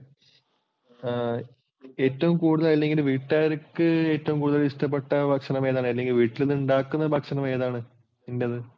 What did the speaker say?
ഏറ്റവും കൂടുതല് അല്ലെങ്കിൽ വീട്ടുകാർക്ക് ഏറ്റവും കൂടുതൽ ഇഷ്ടപ്പെട്ട ഭക്ഷണമേതാണ് അല്ലെങ്കിൽ വീട്ടിൽ നിന്നുണ്ടാക്കുന്ന ഭക്ഷണമേതാണ് നിൻ്റെതു?